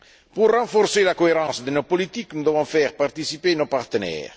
Pour renforcer la cohérence de nos politiques, nous devons faire participer nos partenaires.